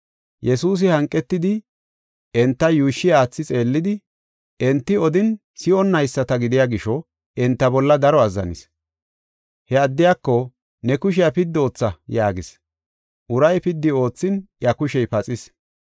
Yesuusi hanqetidi, enta yuushshi aathi xeellidi, enti odin si7onnayisata gidiya gisho, enta bolla daro azzanis. He addiyako, “Ne kushiya piddi ootha” yaagis. Uray piddi oothin iya kushey paxis.